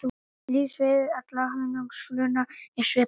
Lífsferill allra hunangsflugna er svipaður.